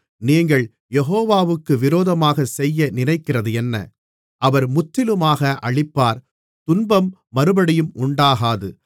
நீங்கள் யெகோவாவுக்கு விரோதமாகச் செய்ய நினைக்கிறதென்ன அவர் முற்றிலுமாக அழிப்பார் துன்பம் மறுபடியும் உண்டாகாது